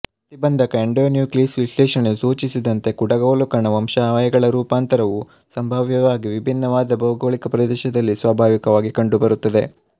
ಪ್ರತಿಬಂಧಕ ಎಂಡೋನ್ಯೂಕ್ಲೀಸ್ ವಿಶ್ಲೇಷಣೆಯು ಸೂಚಿಸಿದಂತೆ ಕುಡಗೋಲುಕಣ ವಂಶವಾಹಿಗಳ ರೂಪಾಂತರವು ಸಂಭಾವ್ಯವಾಗಿ ಭಿನ್ನವಾದ ಭೌಗೋಳಿಕ ಪ್ರದೇಶಗಳಲ್ಲಿ ಸ್ವಾಭಾವಿಕವಾಗಿ ಕಂಡುಬರುತ್ತದೆ